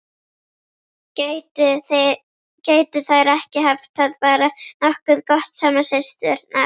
Gætu þær ekki haft það bara nokkuð gott saman, systurnar?